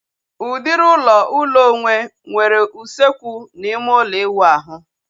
Udiri ụlọ ụlọ onwe nwere usekwu na ịme ụlọ iwu ahu